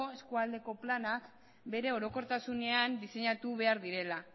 eskualdeko planak bere orokortasunean diseinatu behar direla